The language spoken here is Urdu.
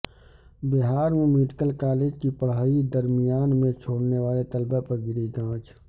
بہار میں میڈیکل کالج کی پڑھائی درمیان میں چھوڑنے والے طلبہ پر گری گاج